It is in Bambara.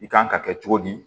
I kan ka kɛ cogo di